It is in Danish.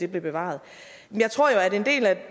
blive bevaret jeg tror jo at en del af